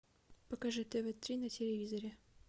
покажи тв три на телевизоре